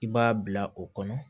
I b'a bila o kɔnɔ